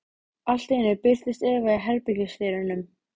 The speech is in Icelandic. Allt í einu birtist Eva í herbergisdyrunum.